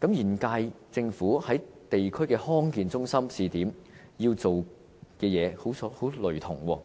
這與現屆政府的地區康健中心試點要做的工作相當類同。